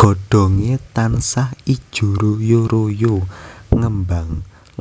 Godhonge tansah ijo royo royo ngembang